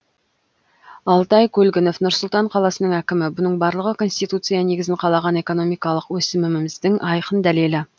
алтай көлгінов нұр сұлтан қаласының әкімі бұның барлығы конституция негізін қалаған экономикалық өсіміміздің айқын дәлелі